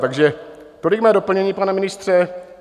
Takže tolik mé doplnění, pane ministře.